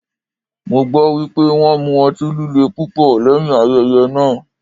Mo gbọ́ wípé wón mu ọtí líle púpọ̀ lẹ́yìn ayẹyẹ náà.